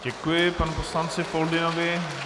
Děkuji panu poslanci Foldynovi.